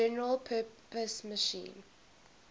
general purpose machine